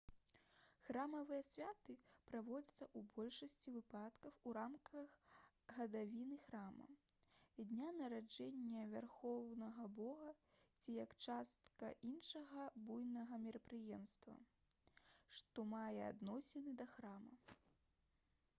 храмавыя святы праводзяцца ў большасці выпадкаў у рамках гадавіны храма дня нараджэння вярхоўнага бога ці як частка іншага буйнога мерапрыемства што мае адносіны да храма